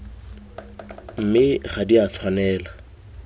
mme ga di a tshwanela